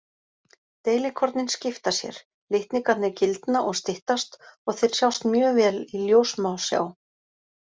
Deilikornin skipta sér, litningarnir gildna og styttast og þeir sjást mjög vel í ljóssmásjá.